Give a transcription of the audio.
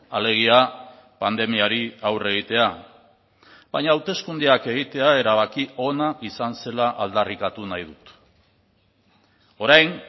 alegia pandemiari aurre egitea baina hauteskundeak egitea erabaki ona izan zela aldarrikatu nahi dut orain